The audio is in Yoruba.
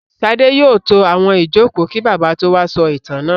Ṣadé yóò tó àwọn ìjókòó kí Bàbá tó wá sọ ìtàn náà.